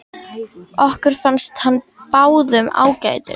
Okkur fannst hann báðum ágætur.